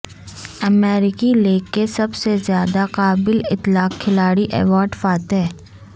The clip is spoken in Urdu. امریکی لیگ کے سب سے زیادہ قابل اطلاق کھلاڑی ایوارڈ فاتح